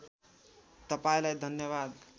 तपाईँलाई धन्यवाद